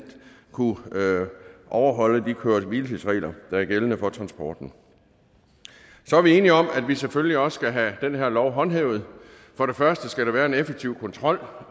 kunne overholde de køre hvile tids regler der er gældende for transporten så er vi enige om at vi selvfølgelig også skal have den her lov håndhævet for det første skal der være en effektiv kontrol